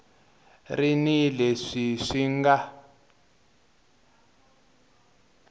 ri ni leswi swi nga